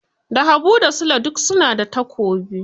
Da habu da sule duk su na da takobi